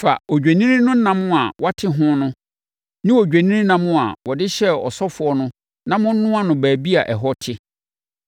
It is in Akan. “Fa odwennini no nam a wɔate ho no ne odwennini nam a wɔde hyɛɛ ɔsɔfoɔ no na monnoa no baabi a ɛhɔ te.